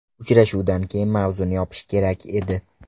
Uchrashuvdan keyin mavzuni yopish kerak edi.